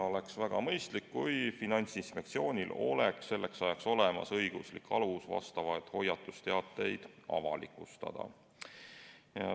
Oleks väga mõistlik, kui Finantsinspektsioonil oleks selleks ajaks olemas õiguslik alus sellekohaseid hoiatusteateid avalikustada.